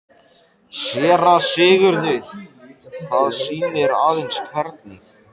SÉRA SIGURÐUR: Það sýnir aðeins hvernig